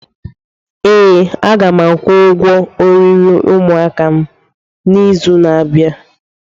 Ee, a ga m akwụ ụgwọ oriri ụmụaka n'izu na-abịa.